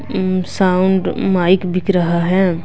Sound mic बिक रहा है।